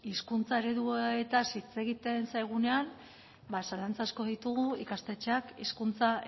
hizkuntza ereduetaz hitz egiten zaigunean ba zalantza asko ditugu ikastetxeak hizkuntza